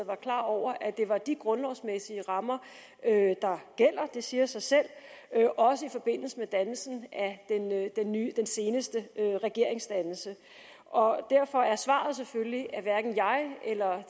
var klar over at det var de grundlovsmæssige rammer det siger sig selv der også gjaldt i forbindelse med den seneste regeringsdannelse derfor er svaret selvfølgelig at hverken jeg eller